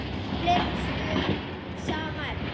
Fleiri svör um sama efni